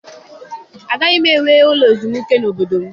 Agaghị m ewu ụlọ ezumike n'obodo m.